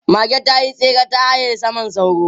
Mage ta yi tsere ta haye saman sauro.